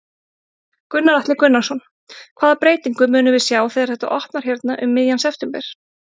Gunnar Atli Gunnarsson: Hvaða breytingu munum við sjá þegar þetta opnar hérna um miðjan september?